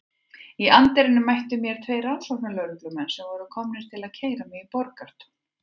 Í anddyrinu mættu mér tveir rannsóknarlögreglumenn sem voru komnir til að keyra mig í Borgartún.